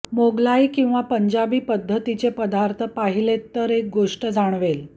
मोगलाई किंवा पंजाबी पद्धतीचे पदार्थ पाहिलेत तर एक गोष्ट जाणवेल